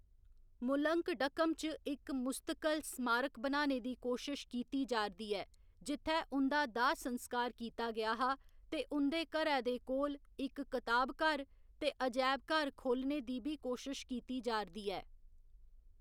मुलंकडकम च इक मुस्तकल स्मारक बनाने दी कोशश कीती जा'रदी ऐ, जित्थै उं'दा दाह्‌‌ संस्कार कीता गेआ हा, ते उं'दे घरै दे कोल इक कताबघर ते अजैबघर खोह्‌‌‌लने दी बी कोशश कीती जा'रदी ऐ।